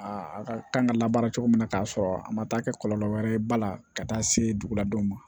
A a ka kan ka labaara cogo min na k'a sɔrɔ a ma taa kɛ kɔlɔlɔ wɛrɛ ye ba la ka taa se dugu ladenw ma